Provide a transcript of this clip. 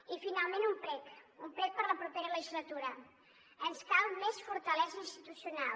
i finalment un prec un prec per a la propera legislatura ens cal més fortalesa institucional